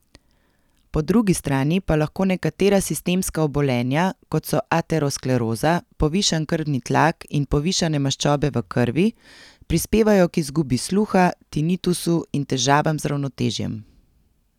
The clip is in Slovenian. Po drugi strani pa lahko nekatera sistemska obolenja, kot so ateroskleroza, povišan krvni tlak in povišane maščobe v krvi, prispevajo k izgubi sluha, tinitusu in težavam z ravnotežjem.